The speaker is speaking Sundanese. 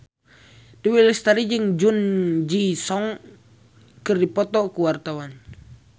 Dewi Lestari jeung Jung Ji Hoon keur dipoto ku wartawan